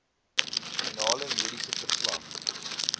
finale mediese verslag